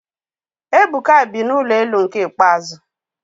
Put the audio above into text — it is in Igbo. Ebuka bi na ụlọ elu nke ikpeazụ